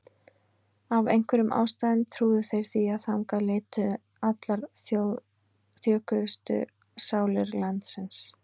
Af einhverjum ástæðum trúðu þeir því að þangað leituðu allar þjökuðustu sálir landsins.